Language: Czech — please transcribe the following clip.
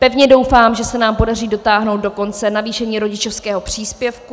Pevně doufám, že se nám podaří dotáhnout do konce navýšení rodičovského příspěvku.